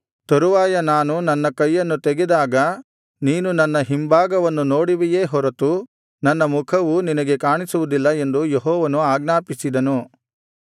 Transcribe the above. ತರುವಾಯ ನಾನು ನನ್ನ ಕೈಯನ್ನು ತೆಗೆದಾಗ ನೀನು ನನ್ನ ಹಿಂಭಾಗವನ್ನು ನೋಡುವಿಯೇ ಹೊರತು ನನ್ನ ಮುಖವು ನಿನಗೆ ಕಾಣಿಸುವುದಿಲ್ಲ ಎಂದು ಯೆಹೋವನು ಆಜ್ಞಾಪಿಸಿದನು